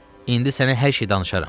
İndi sənə hər şeyi danışaram.